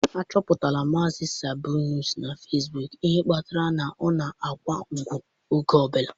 Achọpụtala mazị Sabinus na Fasbok ihe kpatara na ọ na-akwụ ụgwọ oge ọ bụla.